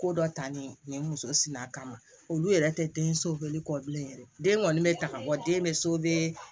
Ko dɔ talen u ye muso si a kama olu yɛrɛ tɛ den so bɛli kɔ bilen yɛrɛ den kɔni bɛ taga wa den bɛ